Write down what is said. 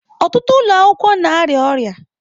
Ọtụtụ ụlọ akwụkwọ na-arịa ọrịa.